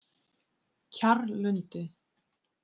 Kjarrlundi